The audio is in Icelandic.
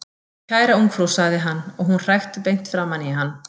Kæra ungfrú sagði hann, og hún hrækti beint framan í hann.